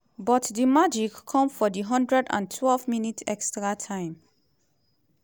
but di magic come for di 112minutes (extra time)